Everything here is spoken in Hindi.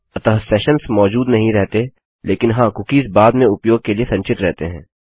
अतः सेशन्स मौजूद नहीं रहते लेकिन हाँ कुकीज़ बाद में उपयोग के लिए संचित रहते हैं